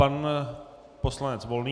Pan poslanec Volný.